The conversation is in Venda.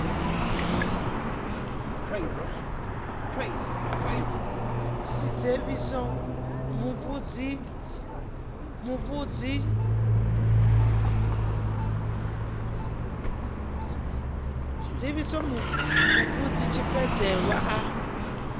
si dzivhise muvhidzi tshivhidzelwa a